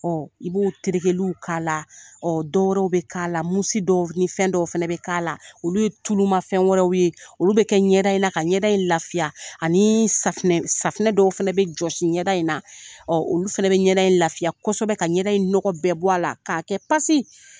Ɔ i b'o terekɛliw k'a la ɔ dɔ wɛrɛw bɛ k'a la musi dɔw ni fɛn dɔw fana bɛ k'a la olu ye tuluma fɛn wɛrɛw ye olu bɛ kɛ ɲɛda in na ka ɲɛda in lafiya anii safinɛ safinɛ dɔw fana bɛ jɔsi ɲɛda in na ɔ olu fana bɛ ɲɛda in lafiya kosɛbɛ ka ɲɛda in nɔgɔw bɛɛ bɔ a la k'a kɛ pasi